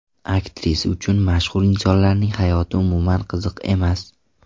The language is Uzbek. Aktrisa uchun mashhur insonlarning hayoti umuman qiziq emas.